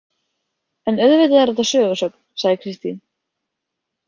En auðvitað er þetta sögusögn, sagði Kristín.